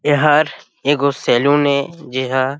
हर-- ए गो सैलून ए जे हा--